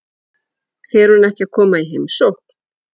Fer hún ekki að koma í heimsókn?